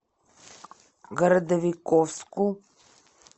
городовиковску